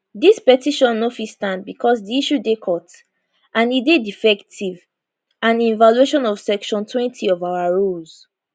dis petition no fit stand becos di issue dey court and e dey defective and in violation of sectiontwentyof our rules